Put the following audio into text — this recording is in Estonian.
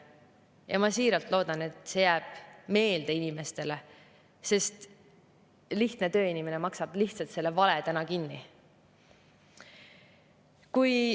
Ja ma siiralt loodan, et see jääb meelde inimestele, sest lihtne tööinimene maksab lihtsalt selle vale täna kinni.